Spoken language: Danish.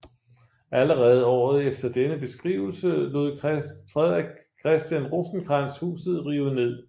Allerede året efter denne beskrivelse lod Frederik Christian Rosenkrantz huset rive ned